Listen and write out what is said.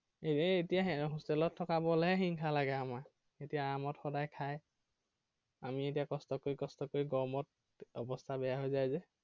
এৰ এতিয়া hostel ত থকা বোৰলৈহে হিংসা লাগে আমাৰ। এতিয়া আৰামত সদায় খায়। আমি এতিয়া কষ্ট কৰি কষ্ট কৰি গৰমত অবস্থা বেয়া হৈ যায় যে।